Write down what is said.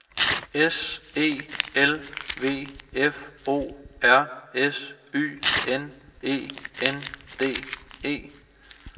S E L V F O R S Y N E N D E